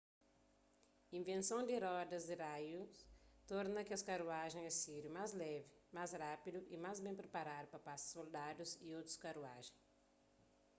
invenson di rodas di raius torna kes karuajen asíriu más levi más rápidu y más ben priparadu pa pasa soldadus y otus karuajen